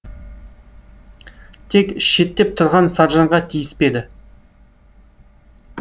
тек шеттеп тұрған саржанға тиіспеді